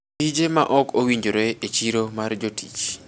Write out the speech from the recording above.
Tije ma ok owinjore e chiro mar jotich.